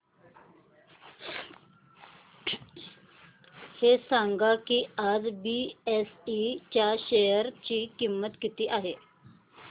हे सांगा की आज बीएसई च्या शेअर ची किंमत किती आहे